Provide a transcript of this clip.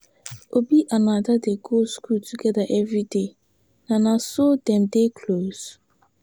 Obi and Ada dey go school together everyday, na na so dem dey close.